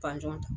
ta